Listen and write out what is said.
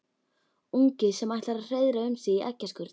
Ungi sem ætlar að hreiðra um sig í eggjaskurn.